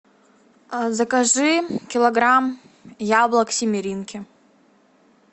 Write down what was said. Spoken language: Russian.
закажи килограмм яблок семеринки